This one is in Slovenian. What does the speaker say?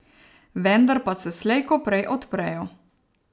Vendar pa se slej ko prej odprejo.